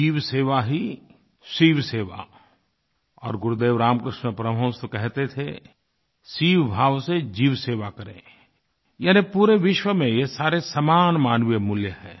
जीवसेवा ही शिवसेवा और गुरुदेव रामकृष्ण परमहंस तो कहते थे शिवभाव से जीवसेवा करें यानी पूरे विश्व में ये सारे समान मानवीय मूल्य हैं